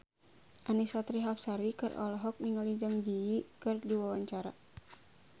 Annisa Trihapsari olohok ningali Zang Zi Yi keur diwawancara